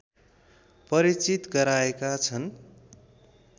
परिचित गराएका छन्